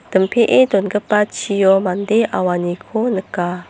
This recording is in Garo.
dongipa chio mande auaniko nika.